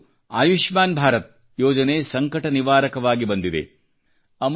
ಅವಳಿಗೂ ಆಯುಷ್ಮಾನ್ ಭಾರತ ಯೋಜನೆ ಸಂಕಟ ನಿವಾರಕವಾಗಿ ಬಂದಿದೆ